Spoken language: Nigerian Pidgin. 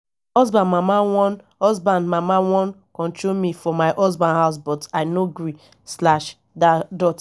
husband mama wan husband mama wan control me for my husband house but i no gree slash dot